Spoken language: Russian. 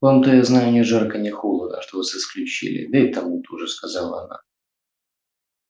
вам-то я знаю ни жарко ни холодно что вас исключили да и тому тоже сказала она